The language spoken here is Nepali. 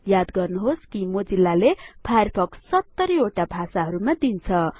याद गर्नुहोस् कि मोजिल्ला ले फायरफक्स ७० वटा भाषाहरुमा दिन्छ